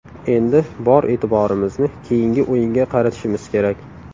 Endi bor e’tiborimizni keyingi o‘yinga qaratishimiz kerak.